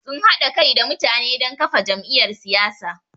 Sun haɗa kai da mutane don kafa jam’iyyar siyasa.